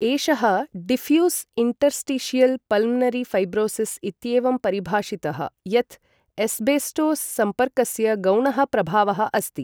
एषः diffuse interstitial pulmonary fibrosis इत्येवं परिभाषितः यत् एस्बेस्टोस् सम्पर्कस्य गौणः प्रभावः अस्ति।